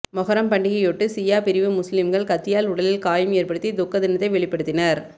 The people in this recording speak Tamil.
மொஹரம் பண்டிகையையொட்டி ஷியா பிரிவு முஸ்லிம்கள் கத்தியால் உடலில் காயம் ஏற்படுத்தி துக்க தினத்தை வெளிபடுத்தினர்